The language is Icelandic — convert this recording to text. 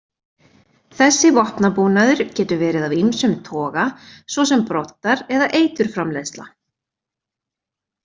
Þessi vopnabúnaður getur verið af ýmsum toga svo sem broddar eða eiturframleiðsla.